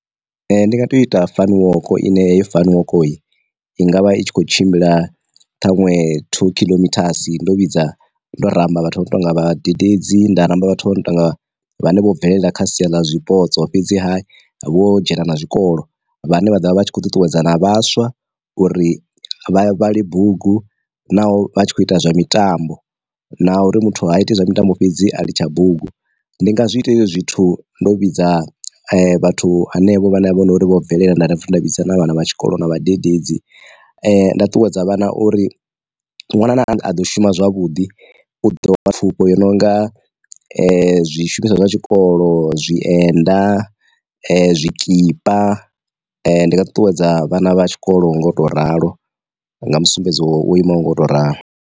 Ndi nga to ita fani woko ine heyo fani woko, i ngavha i tshi kho tshimbila ṱhaṅwe two khiḽomithasi ndo vhidza ndo ramba vhathu vho no tonga vhadededzi, nda ramba vhathu vho no tonga vhane vho bvelela kha sia ḽa zwipotso fhedzi ha vho dzhena na zwikolo vhane vha ḓovha vha tshi khou ṱuṱuwedzana vhaswa uri vha vhale bugu naho vha tshi kho ita zwa mitambo, na uri muthu ha iti zwa mitambo fhedzi a litsha bugu. Ndi nga zwi ita hezwo zwithu ndo vhidza vhathu henevho vhane vha vho uri vho bvelela nda ḓa nda vhidza na vhana vha tshikolo na vhadededzi nda ṱuwedza vhana uri ṅwana a ḓo shuma zwavhuḓi u ḓo wana pfufho i no nga zwi shumiswa zwa tshikolo, zwi enda, zwikipa, ndi nga ṱuṱuwedza vhana vha tshikolo nga u to ralo nga mu sumbedzo wo imaho ngo u to ralo.